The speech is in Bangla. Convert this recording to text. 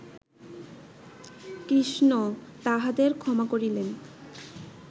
কৃষ্ণ তাহাদের ক্ষমা করিলেন